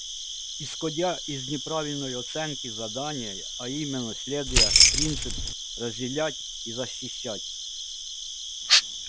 исходя из неправильной оценки задания а именно следуя принципу разделять и защищать